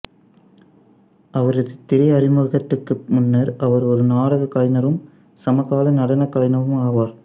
அவரது திரை அறிமுகத்திற்கு முன்னர் அவர் ஒரு நாடக கலைஞரும் சமகால நடனக் கலைஞருமாவார்